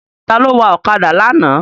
Ta ló wa ọ̀kadà lánàá?